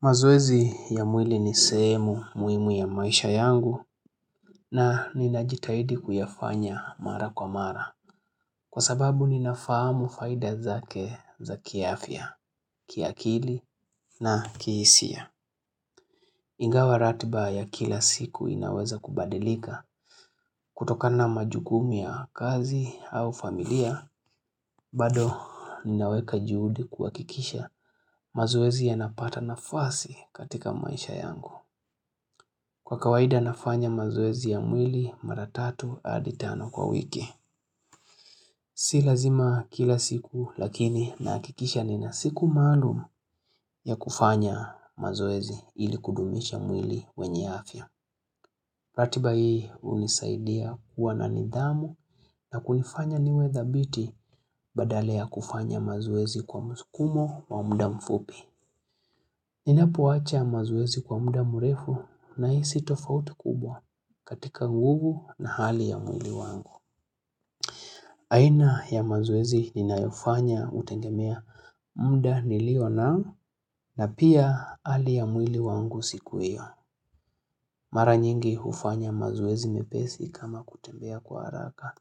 Mazoezi ya mwili ni seemu muimu ya maisha yangu na ninajitahidi kuyafanya mara kwa mara. Kwa sababu ninafahamu faida zake za kiafya, kiakili na kiisia. Ingawa ratba ya kila siku inaweza kubadilika kutokana na majukumu ya kazi au familia. Bado ninaweka juhudi kuwakikisha mazoezi yanapata nafasi katika maisha yangu. Kwa kawaida nafanya mazoezi ya mwili maratatu hadi tano kwa wiki. Si lazima kila siku lakini nahakikisha nina siku maalum ya kufanya mazoezi ili kudumisha mwili wenye afya. Ratiba hii unisaidia kuwa na nidhamu na kunifanya niwe thabiti badala ya kufanya mazoezi kwa msukumo wa mda mfupi. Ninapoacha mazoezi kwa mda murefu nahisi tofauti kubwa katika gugu na hali ya mwili wangu. Aina ya mazoezi ninayofanya utegemea mda nilio na na pia hali ya mwili wangu siku iyo. Mara nyingi ufanya mazoezi mepesi kama kutembea kwa haraka.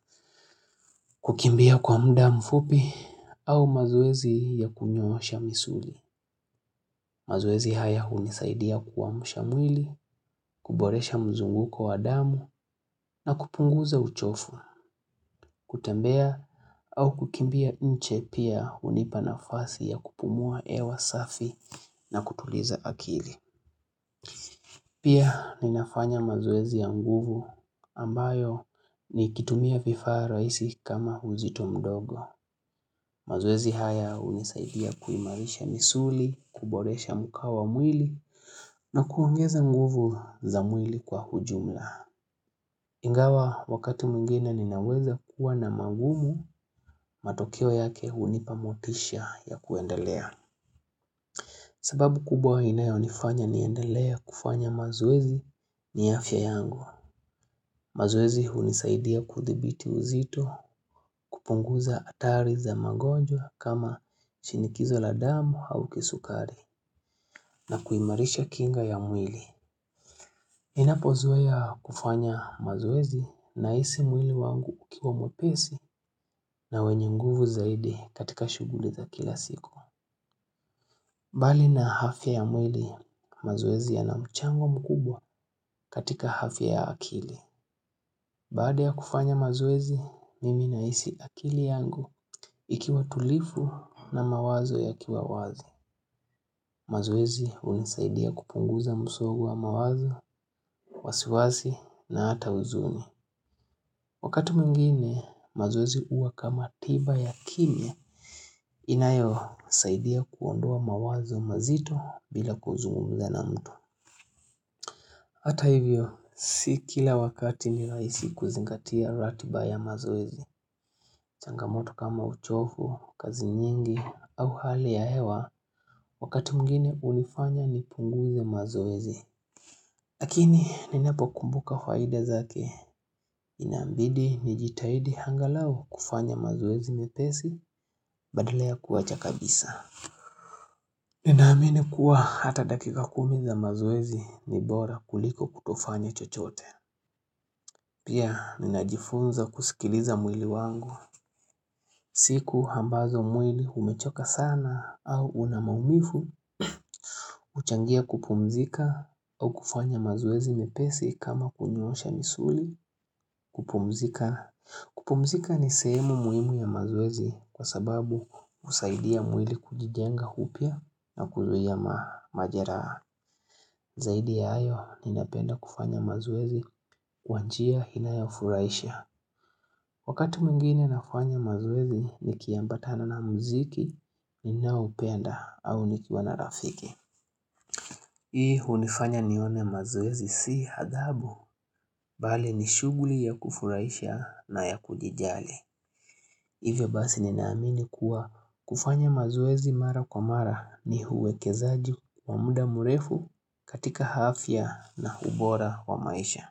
Kukimbia kwa mda mfupi au mazoezi ya kunyoosha misuli. Mazoezi haya unisaidia kuamusha mwili, kuboresha mzunguko wa damu na kupunguza uchofu, kutembea au kukimbia nje pia unipanafasi ya kupumua hewa safi na kutuliza akili. Pia ninafanya mazoezi ya nguvu ambayo nikitumia vifaa raisi kama uzito mdogo. Mazoezi haya unisaidia kuimarisha misuli, kuboresha mkao mwili na kuongeza nguvu za mwili kwa ujumla. Ingawa wakati mwingina ninaweza kuwa na magumu, matokeo yake unipamotisha ya kuendelea. Sababu kubwa inayo nifanya niendelee kufanya mazoezi ni afya yangu. Mazoezi unisaidia kuthibiti uzito kupunguza hatari za magonjwa kama chinikizo la damu au kisukari na kuimarisha kinga ya mwili. Ninapozoea kufanya mazoezi nahisi mwili wangu ukiwa mwepesi na wenye nguvu zaidi katika shuguli za kila siku. Bali na afya ya mwili mazoezi ya na mchango mkubwa katika afya ya akili. Baada ya kufanya mazoezi, mimi nahisi akili yangu ikiwa tulifu na mawazo ya kiwawazi. Mazoezi unisaidia kupunguza msogo wa mawazo, wasiwasi na hata uzuni. Wakati mwingine, mazoezi uwa kama tiba ya kimya. Inayo, saidia kuondoa mawazo mazito bila kuzungumza na mtu. Hata hivyo, sikila wakati nilaisi kuzingatia ratiba ya mazoezi. Changamoto kama uchofu, kazi nyingi au hali ya hewa Wakati mwingine unifanya ni punguze mazoezi Lakini ninapo kumbuka faida zake Inambidi ni jitaidi hangalau kufanya mazoezi nyepesi badala kuwa chakabisa Ninaamine kuwa hata dakika kumi za mazoezi nibora kuliko kutofanya chochote Pia ninajifunza kusikiliza mwili wangu siku hambazo mwili umechoka sana au unamaumifu uchangia kupumzika au kufanya mazoezi mepesi kama kunyoosha misuli kupumzika ni semu muhimu ya mazoezi kwa sababu usaidia mwili kujijenga upya na kuzuia majeraha Zaidi ya ayo ninapenda kufanya mazoezi kwanjia inayafuraisha Wakati mwingine nafanya mazoezi ni kiambatana na muziki, ni naupenda au nikiwa na rafiki. Hii hunifanya nione mazoezi si hadhabu, bali ni shuguli ya kufuraisha na ya kujijali. Hivyo basi ninaamini kuwa kufanya mazoezi mara kwa mara ni huekezaji wa mda murefu katika hafya na ubora wa maisha.